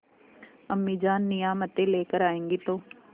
अम्मीजान नियामतें लेकर आएँगी तो